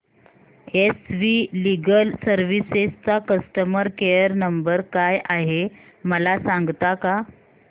S V legal services चा customer care number काय आहे मला सांगता का